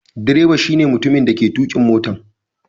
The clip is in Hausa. Direba shine mutumin dake tukin motan.